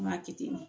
N m'a kɛ ten tɔ